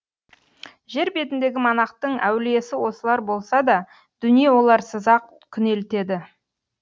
жер бетіндегі монахтың әулиесі осылар болса да дүние оларсыз ақ күнелтеді